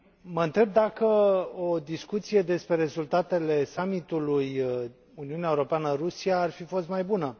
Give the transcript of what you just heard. Mă întreb dacă o discuție despre rezultatele summitului Uniunea Europeană Rusia ar fi fost mai bună.